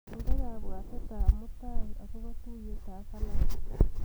Inde kabwatetap mutyai akobo tuiyetab Allan.